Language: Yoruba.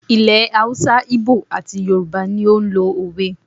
Ilẹ̀ Haúsá, Ígbò àti Yorùbá ni ó n lo òwe